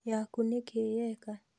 Yakũ nĩkĩĩ yeka?